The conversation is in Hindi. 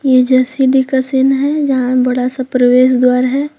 ये जो सिटी का सीन है जहां बड़ा सा प्रवेश द्वार है।